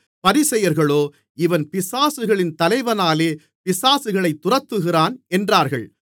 பரிசேயர்களோ இவன் பிசாசுகளின் தலைவனாலே பிசாசுகளைத் துரத்துகிறான் என்றார்கள்